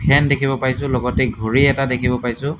ফেন দেখিব পাইছোঁ লগতে ঘড়ী এটা দেখিব পাইছোঁ।